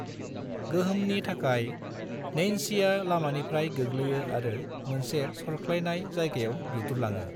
गोहोमनि थाखाय, नैन्सीया लामानिफ्राय गोग्लैयो आरो मोनसे सरख्लायनाय जायगायाव दुद्रुलाङो।